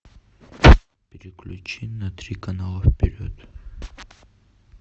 переключи на три канала вперед